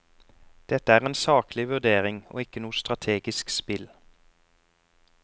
Dette er en saklig vurdering og ikke noe strategisk spill.